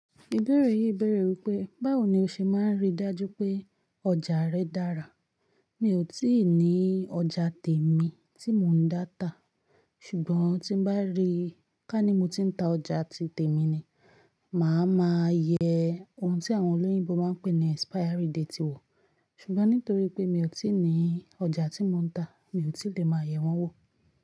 Ìbéèrè yìí béèrè wípé, báwo ni o ṣe máa ń rí dájú pé ọjà rẹ dára? Mi ò tí ì ní ọjà tèmi tí mò ń dá tà, ṣùgbọ́n, tí n bá ri, ká ní mo ti ń ta ọjà ti tèmi ni, mà á máa yẹ ohun tí àwọn olóyìnbó máa ń pè ní ẹ̀spáyárí detì wò. Ṣùgbọ́n nítorí pé mi ò tí ì ní ọjà tí mò ń tà, mi ò tí lè máa yẹ̀ wọ́n wò.